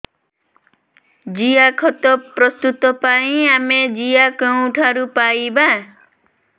ଜିଆଖତ ପ୍ରସ୍ତୁତ ପାଇଁ ଆମେ ଜିଆ କେଉଁଠାରୁ ପାଈବା